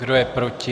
Kdo je proti?